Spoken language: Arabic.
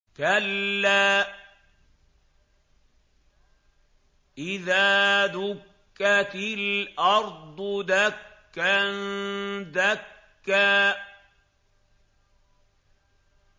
كَلَّا إِذَا دُكَّتِ الْأَرْضُ دَكًّا دَكًّا